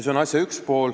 Seda esiteks.